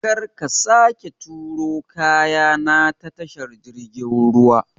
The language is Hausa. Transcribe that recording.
Kar ka sake turo kaya na ta tashar jirgin ruwa!